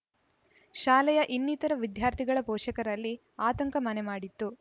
ಶಾಲೆಯ ಇನ್ನಿತರ ವಿದ್ಯಾರ್ಥಿಗಳ ಪೋಷಕರಲ್ಲಿ ಆತಂಕ ಮನೆ ಮಾಡಿತ್ತು